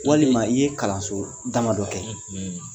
Walima i ye kalanso dama dɔ kɛ